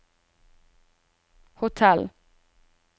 hotell